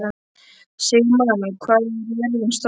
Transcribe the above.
Sigmann, hvað er jörðin stór?